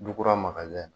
Duurunan makari